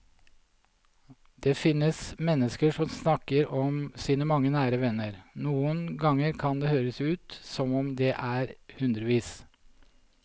Det finnes mennesker som snakker om sine mange nære venner, noen ganger kan det høres ut som om det er hundrevis.